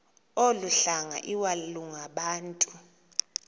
olu hlanga iwalungabantu